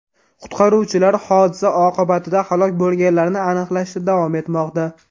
Qutqaruvchilar hodisa oqibatida halok bo‘lganlarni aniqlashda davom etmoqda.